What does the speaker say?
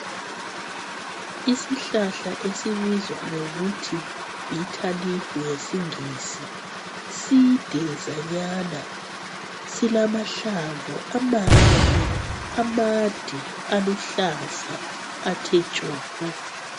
Isihlahla esibizwa ngokuthi bitter leaf ngesiNgisi. Sidezanyana, silamahlamvu amahle, amade! Aluhlaza athe tshoko!